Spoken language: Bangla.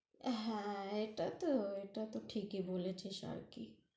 হ্যাঁ, এটা তহ, এটা তহ ঠিকই বলেছিস আরকি